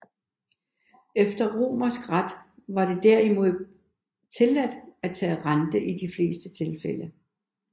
Efter romersk ret var det derimod tilladt at tage rente i de fleste tilfælde